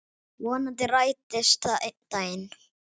Vonandi rætist það einn daginn.